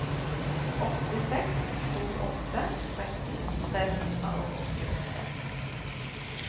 åtte seks to åtte tretten tre hundre og åttiåtte